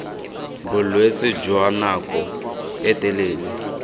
bolwetse jwa nako e telele